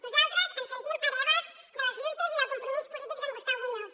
nosaltres ens sentim hereves de les lluites i del compromís polític d’en gustau muñoz